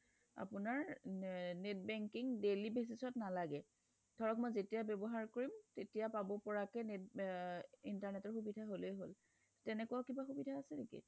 আপোনাৰ net banking daily basis ত নালাগে ধৰক মই যেতিয়া ব্যৱহাৰ কৰিম তেতিয়াই পাব পৰাকে net আ internet ৰ সুবিধা হলেই হল তেনেকুৱা কিবা সুবিধা আছে নেকি